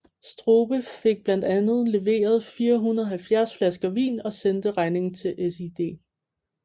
Strube fik blandt andet leveret 470 flasker vin og sendte regningen til SiD